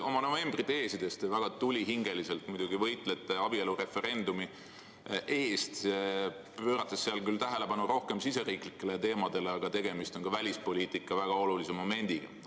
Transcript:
Oma novembriteesides te väga tulihingeliselt muidugi võitlete abielureferendumi eest, pöörates seal küll tähelepanu rohkem riigisisestele teemadele, aga tegemist on ka välispoliitikas väga olulise teemaga.